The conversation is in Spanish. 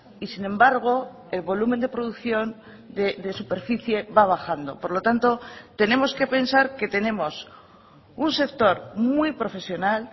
y sin embargo el volumen de producción de superficie va a bajando por lo tanto tenemos que pensar que tenemos un sector muy profesional